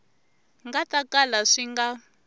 nga ta kala swi nga